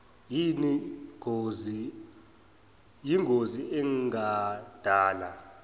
yin gozi engadala